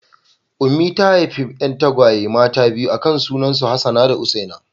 Ummi ta haifi 'yan tagwaye mata biyu aka sunan su Hassana da Husseina.